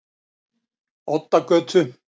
Oddagötu